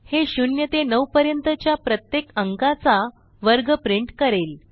हे 0 ते 9 पर्यंतच्या प्रत्येक अंकाचा वर्ग प्रिंट करेल